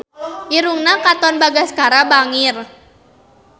Irungna Katon Bagaskara bangir